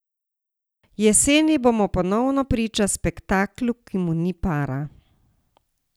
Jeseni bomo ponovno priča spektaklu, ki mu ni para.